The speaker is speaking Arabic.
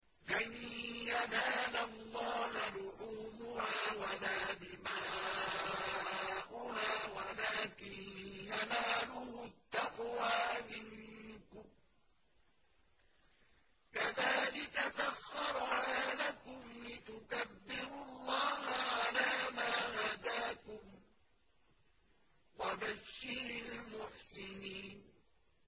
لَن يَنَالَ اللَّهَ لُحُومُهَا وَلَا دِمَاؤُهَا وَلَٰكِن يَنَالُهُ التَّقْوَىٰ مِنكُمْ ۚ كَذَٰلِكَ سَخَّرَهَا لَكُمْ لِتُكَبِّرُوا اللَّهَ عَلَىٰ مَا هَدَاكُمْ ۗ وَبَشِّرِ الْمُحْسِنِينَ